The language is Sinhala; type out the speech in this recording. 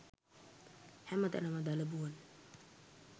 හැම තැනම දලබුවන්